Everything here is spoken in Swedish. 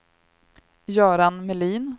Göran Melin